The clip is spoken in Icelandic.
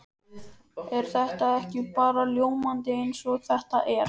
Er þetta ekki bara ljómandi eins og þetta er?